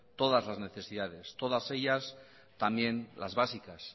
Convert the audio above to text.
todas las necesidades todas ellas también las básicas